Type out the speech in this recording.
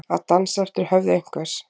Að dansa eftir höfði einhvers